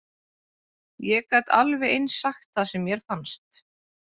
Ég gat alveg eins sagt það sem mér fannst.